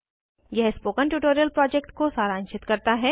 यह spoken tutorial project को सारांशित करता है